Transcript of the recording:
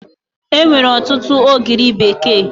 Enwere ọtụtụ ogiri bekee